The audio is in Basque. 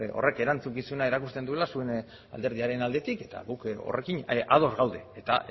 horrek erantzukizuna erakusten duela zuen alderdiaren aldetik eta gu horrekin ados gaude eta